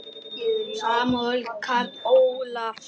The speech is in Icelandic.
Samúel Karl Ólason.